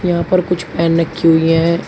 यहां पर कुछ पेन रखी हुई हैं।